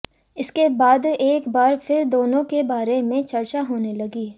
इसके बाद एक बार फिर दोनों के बारे में चर्चा होने लगी